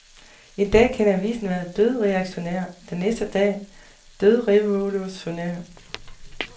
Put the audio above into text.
En dag kan avisen være dødreaktionær, den næste dag dødrevolutionær.